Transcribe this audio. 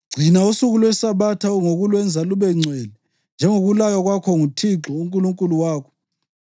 Gcina usuku lweSabatha ngokulwenza lubengcwele njengokulaywa kwakho nguThixo uNkulunkulu wakho.